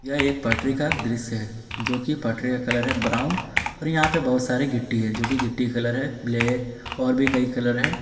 यह एक पटरी का दृश्य है जो की पटरी का कलर हैं ब्राऊन और यहा पे बहुत सारे गिट्टी है जो की गिट्टी का कलर है ब्लैक और भी कई कलर है।